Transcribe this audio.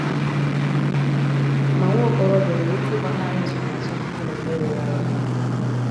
Mà nwa okorobịa onwere ike ịgbanarị nsonaazụ nke omume rụrụ arụ kpamkpam?